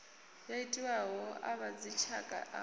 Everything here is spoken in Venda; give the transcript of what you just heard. yo itiwaho a vhadzitshaka u